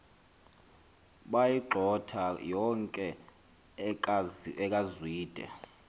bayigxotha yonke ekazwide